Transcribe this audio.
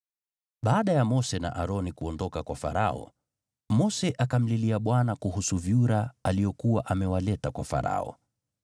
Baada ya Mose na Aroni kuondoka kwa Farao, Mose akamlilia Bwana kuhusu vyura aliokuwa amewaleta kwa Farao.